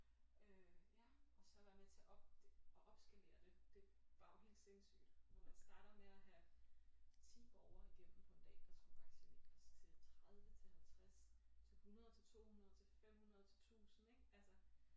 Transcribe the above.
Øh ja og så være med til at op at opskalere det det var jo helt sindssygt hvor man starter med at have 10 borgere igennem på en dag der skal vaccineres til 30 til 50 til 100 til 200 til 500 til 1000 ik altså